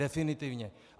Definitivně.